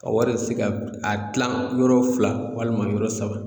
A wari ye se ka a kilan yɔrɔ fila walima yɔrɔ saba